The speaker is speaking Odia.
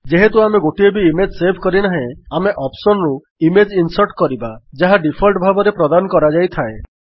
ଯେହେତୁ ଆମେ ଗୋଟିଏ ବି ଇମେଜ୍ ସେଭ୍ କରିନାହେଁ ଆମେ ଅପ୍ସନ୍ ରୁ ଇମେଜ୍ ଇନ୍ସର୍ଟ କରିବା ଯାହା ଡିଫଲ୍ଟ ଭାବରେ ପ୍ରଦାନ କରାଯାଇଥାଏ